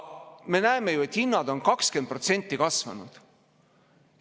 Me näeme ju, et hinnad on 20% kasvanud.